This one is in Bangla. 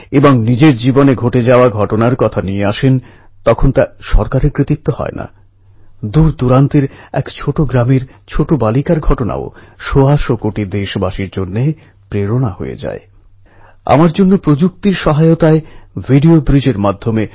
সেই মহাউদ্ঘাটন অনুষ্ঠানে পূজনীয় বাপু বলেছিলেন আমেদাবাদ পুরসভা মেয়র হিসেবে শুধু একজন ব্যক্তিকেই পায়নি সেই সঙ্গে এমন এক শক্তি পেয়েছে যার দ্বারা তিলকের মূর্তি প্রতিষ্ঠা করা সম্ভব হয়েছে